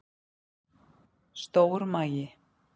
Stór magi